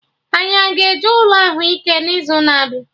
Anyị a-ga eje ụlọ ahụike n'izuna abịa?